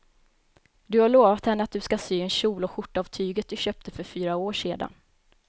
Du har lovat henne att du ska sy en kjol och skjorta av tyget du köpte för fyra år sedan.